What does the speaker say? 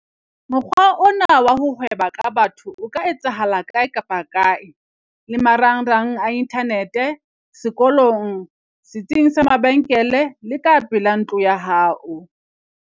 Mokgwa ona wa ho hweba ka batho o ka etsahala kae kapa kae - le marangrang a inthanete, sekolong, setsing sa mabenkele le ka pela ntlo ya hao.